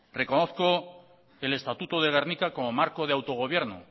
reconozco el estatuto de gernika como marco de autogobierno